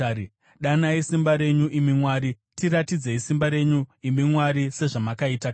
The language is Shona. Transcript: Danai simba renyu, imi Mwari; tiratidzei simba renyu, imi Mwari, sezvamakaita kare.